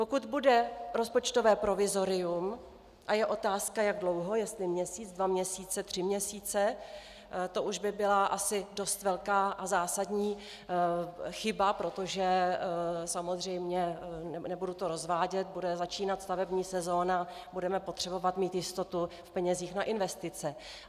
Pokud bude rozpočtové provizorium - a je otázka jak dlouho, jestli měsíc, dva měsíce, tři měsíce, to už by byla asi dost velká a zásadní chyba, protože samozřejmě, nebudu to rozvádět, bude začínat stavební sezóna, budeme potřebovat mít jistotu v penězích na investice.